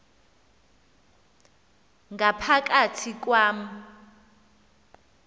ngapha kathi kwam